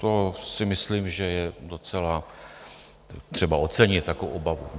To si myslím, že je docela třeba ocenit, takovou obavu.